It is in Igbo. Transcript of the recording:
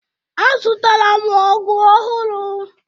Azụtara m ọgụ ọhụrụ